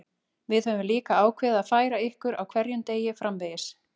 Við höfum líka ákveðið að færa ykkur á hverjum degi framvegis.